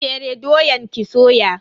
Fere doyan ki soya.